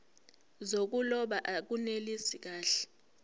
zokuloba akunelisi kahle